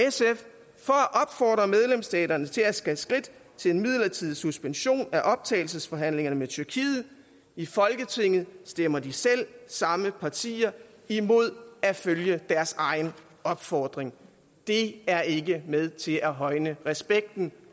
opfordre medlemsstaterne til at tage skridt til en midlertidig suspension af optagelsesforhandlingerne med tyrkiet i folketinget stemmer de selv samme partier imod at følge deres egen opfordring det er ikke med til at højne respekten